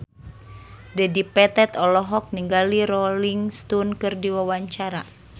Dedi Petet olohok ningali Rolling Stone keur diwawancara